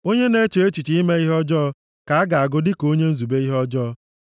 Onye na-eche echiche ime ihe ọjọọ ka a ga-agụ dịka onye nzube ihe ọjọọ